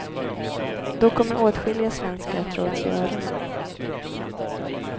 Då kommer åtskilliga svenskar att dra åt sig öronen.